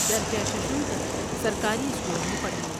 درجہ ششم تک سرکاری اسکول میں پڑھے ۔